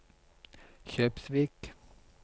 Kjøpsvik